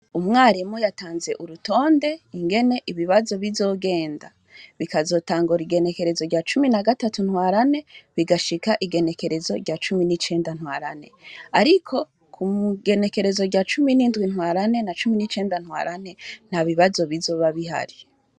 Umwarimu yatanze urutonde ingene ibibazo bizogenda, bikazotangura igenekerezo rya cumi na gatatu Ntwarante bigashika igenekerezo rya cumi n’icenda Ntwarante. Ariko ku genekerezo rya cumi n’indwi Ntwarante na cumi n’icenda Ntwarante ntabibazo bizoba bihari.